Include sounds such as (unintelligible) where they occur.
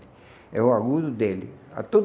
É o agudo dele. (unintelligible)